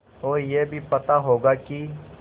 और यह भी पता होगा कि